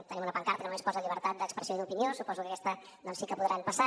tenim una pancarta que només posa llibertat d’expressió i d’opinió suposo que aquesta doncs sí que podran passar